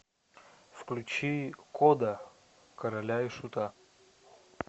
включи кода короля и шута